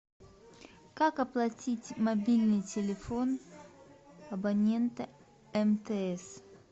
как оплатить мобильный телефон абонента мтс